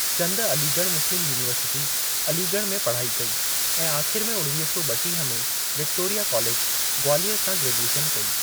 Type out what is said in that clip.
चंद Aligarh Muslim university, Aligarh में पढ़ाई कई ऐं आख़िर में उणवीह सौ ॿटीह में विक्टोरिया कॉलेज, ग्वालियर सां ग्रेजुएशन कई।